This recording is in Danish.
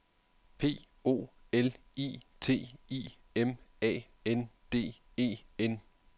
P O L I T I M A N D E N